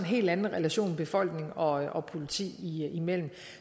helt anden relation befolkning og og politi imellem